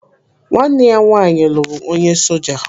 Nwanne ya nwaanyị lụrụ onye soja.